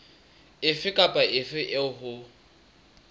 efe kapa efe eo ho